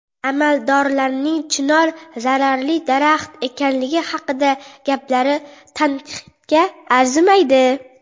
Amaldorlarning chinor zararli daraxt ekanligi haqidagi gaplari tanqidga arzimaydi.